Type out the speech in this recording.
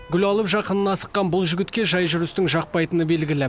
гүл алып жақынына асыққан бұл жігітке жай жүрістің жақпайтыны белгілі